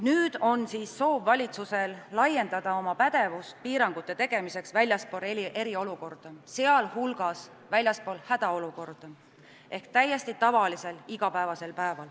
Nüüd on siis valitsusel soov laiendada oma pädevust piirangute tegemiseks ka väljaspool eriolukorda, sealhulgas väljaspool hädaolukorda ehk siis täiesti tavalisel aja.